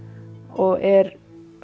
og er